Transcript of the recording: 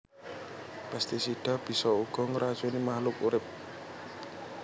Pestisida bisa uga ngracuni makhluk urip